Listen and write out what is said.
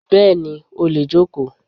Bẹ́ẹ̀ni, ó lè jókòó.